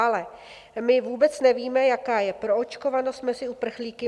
Ale my vůbec nevíme, jaká je proočkovanost mezi uprchlíky.